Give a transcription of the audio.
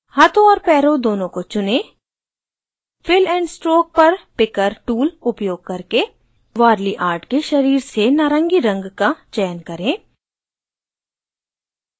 हाथों और पैरों दोनों को चुनें fill and stroke पर picker tool उपयोग करके warli art के शरीर से नारंगी रंग का चयन करें